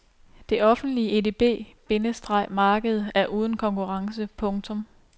Det offentlige edb- bindestreg marked er uden konkurrence. punktum